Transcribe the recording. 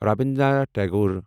Rabindranath Tagore